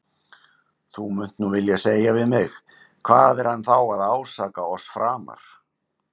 Þú munt nú vilja segja við mig: Hvað er hann þá að ásaka oss framar?